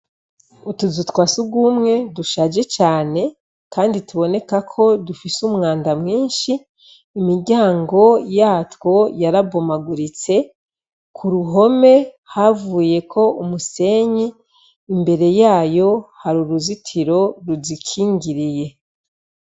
Utuzu twa asugumwe dushaje cane, Kandi tubonekako dufise umwanda mwinshi, imiryango yatwo yarabomaguritse, kuruhome havuyeko umusenyi, imbere yayo har’uruzitiro ruzikingiriye.